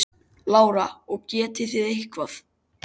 Lára: Og getið þið eitthvað?